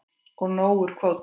Og nógur kvóti.